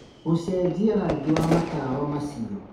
gũcenjia rangi wa matawa macio